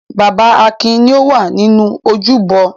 Bàbá Akin ni ó wà nínú ojúbọ.